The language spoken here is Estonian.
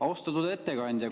Austatud ettekandja!